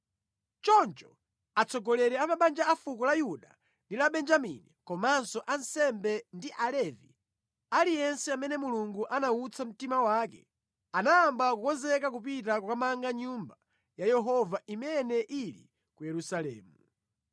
Choncho atsogoleri a mabanja afuko la Yuda ndi la Benjamini komanso ansembe ndi Alevi, aliyense amene Mulungu anawutsa mtima wake, anayamba kukonzeka kupita kukamanga Nyumba ya Yehova imene ili ku Yerusalemu.